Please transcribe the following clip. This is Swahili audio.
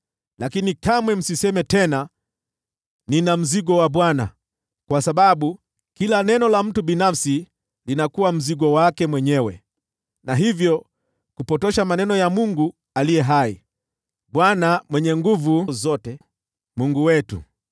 Lakini kamwe msiseme tena, ‘Nina mzigo wa Bwana ,’ kwa sababu kila neno la mtu binafsi linakuwa mzigo wake mwenyewe, na hivyo kupotosha maneno ya Mungu aliye hai, Bwana Mwenye Nguvu Zote, Mungu wetu.